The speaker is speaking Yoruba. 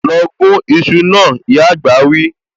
Lọ gún iṣu náà, ìyá àgbà wí